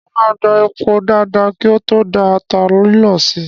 Mo máa gbá epo dáadáa kí o tó da ata lílọ̀ sí i.